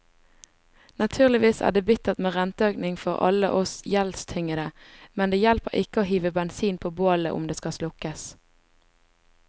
Naturligvis er det bittert med renteøkning for alle oss gjeldstyngede, men det hjelper ikke å hive bensin på bålet om det skal slukkes.